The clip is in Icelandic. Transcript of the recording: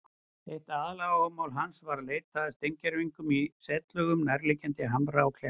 Eitt aðaláhugamál hans var að leita að steingervingum í setlögum nærliggjandi hamra og kletta.